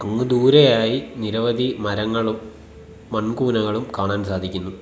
അങ്ങ് ദൂരെയായി നിരവധി മരങ്ങളും മൺകൂനകളും കാണാൻ സാധിക്കുന്നു.